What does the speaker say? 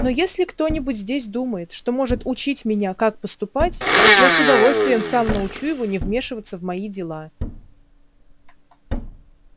но если кто-нибудь здесь думает что может учить меня как поступать я с удовольствием сам научу его не вмешиваться в мои дела